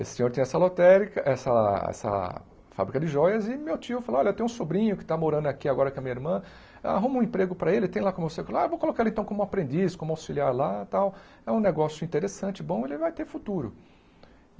Esse senhor tinha essa lotérica, essa essa fábrica de joias, e meu tio falou, olha, eu tenho um sobrinho que está morando aqui agora com a minha irmã, arruma um emprego para ele, tem lá como circular, ah eu vou colocar ele então como aprendiz, como auxiliar lá e tal, é um negócio interessante, bom, ele vai ter futuro.